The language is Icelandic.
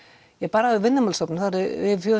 bara hjá Vinnumálastofnun eru